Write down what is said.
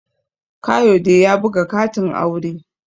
Kayode ya buga katin aure